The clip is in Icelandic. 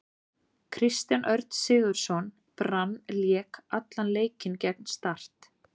Kristján Örn Sigurðsson, Brann Lék allan leikinn gegn Start.